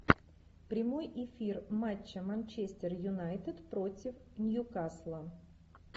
прямой эфир матча манчестер юнайтед против ньюкасла